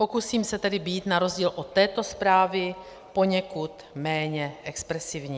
Pokusím se tedy být na rozdíl od této zprávy poněkud méně expresivní.